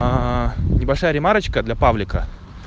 небольшая ремарочка для павлика